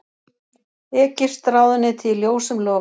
Egypskt ráðuneyti í ljósum logum